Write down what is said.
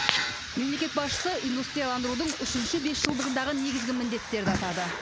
мемлекет басшысы индустрияландырудың үшінші бесжылдығындағы негізгі міндеттерді атады